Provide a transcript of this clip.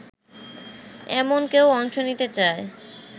এমন কেউ অংশ নিতে চায়